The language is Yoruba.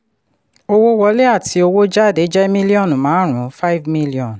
owó wọlé àti owó jáde jẹ́ míllíọ̀nù márùn-ún five million